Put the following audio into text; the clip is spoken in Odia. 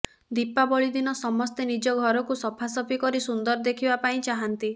ଦୀପାବଳି ଦିନ ସମସ୍ତେ ନିଜ ଘରକୁ ସଫାସଫି କରି ସୁନ୍ଦର ଦେଖିବା ପାଇଁ ଚାହାଁନ୍ତି